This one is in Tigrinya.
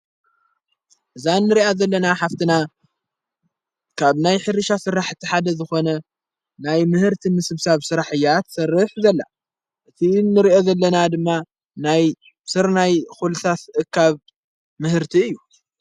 እዛ ንርኣ ዘለና ሓፍትና ካብ ናይ ሕሪሻ ሥራሕ እተሓደ ዝኾነ ናይ ምህርቲ ምስብሳብ ሥራሕ እያጰትሠርሕ ዘላ እቲ እንርእዮ ዘለና ድማ ናይ ሠርናይ ዂልሳስ ኻብ ምህርቲ እዩ።